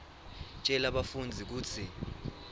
tjela bafundzi kutsi